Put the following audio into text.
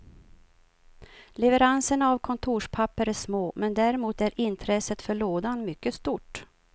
Leveranserna av kontorspapper är små, men däremot är intresset för lådan mycket stort.